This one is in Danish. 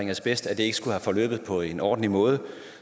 asbest at det ikke skulle være forløbet på en ordentlig måde